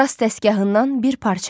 Rast dəstgahından bir parça.